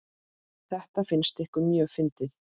Þetta fannst ykkur mjög fyndið.